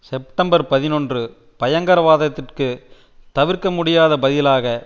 September பதினொன்று பயங்கரவாதத்திற்கு தவிர்க்க முடியாத பதிலாக